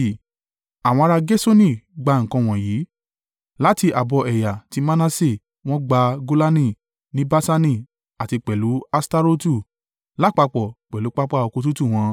Àwọn ará Gerṣoni gbà nǹkan wọ̀nyí. Láti ààbọ̀ ẹ̀yà ti Manase wọ́n gba Golani ní Baṣani àti pẹ̀lú Aṣtarotu, lápapọ̀ pẹ̀lú pápá oko tútù wọn.